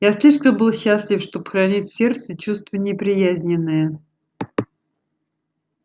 я слишком был счастлив чтоб хранить в сердце чувство неприязненное